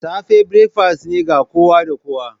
safe breakfast ne ga kowa da kowa.